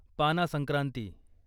पाना संक्रांती